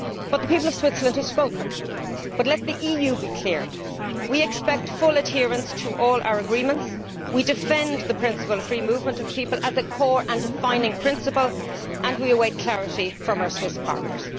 The people of Switzerland have spoken, but let the EU be clear that we expect full adherence to all our agreements, we defend the principle of free movement of people as a core and defining principle and we await clarity from our Swiss partners.